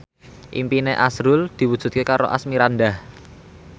impine azrul diwujudke karo Asmirandah